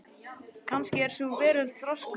Kannski er sú veröld þroskuð.